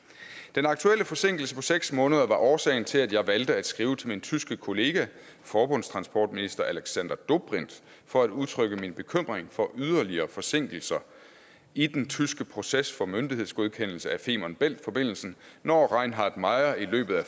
den aktuelle forsinkelse på seks måneder var årsagen til at jeg valgte at skrive til min tyske kollega forbundstransportminister alexander dobrindt for at udtrykke min bekymring for yderligere forsinkelser i den tyske proces for myndighedsgodkendelse af femern bælt forbindelsen når reinhard meyer i løbet af